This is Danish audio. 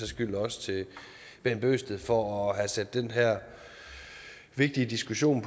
skyld også herre bent bøgsted for at have sat den her vigtige diskussion